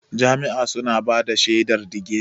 Jami'a suna bada shaidar digiri.